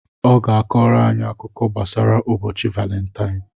ọ ga-akọrọ anyị akụkọ gbasara ụbọchị Valentaịn.